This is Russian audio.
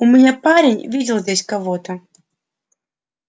у меня парень видел здесь кого-то